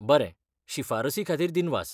बरें, शिफारसी खातीर दिनवास!